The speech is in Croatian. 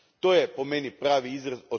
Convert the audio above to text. To je po meni pravi izraz.